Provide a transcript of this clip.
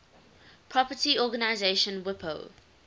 property organization wipo